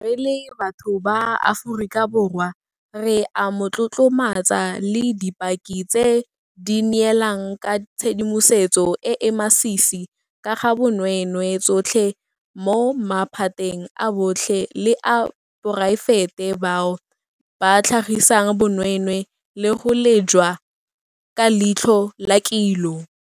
Re le batho ba Aforika Borwa re a mo tlotlomatsa le dipaki tse di neelang ka tshedimosetso e e masisi ka ga bonweenwee tsotlhe mo maphateng a botlhe le a poraefete bao ba tlhagisang bonweenwee le go lejwa ka leitlho la kilo.